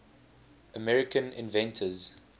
american inventors